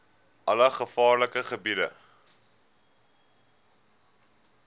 alle gevaarlike gebiede